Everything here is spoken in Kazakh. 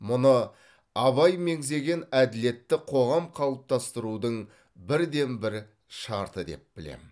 мұны абай меңзеген әділетті қоғам қалыптастырудың бірден бір шарты деп білемін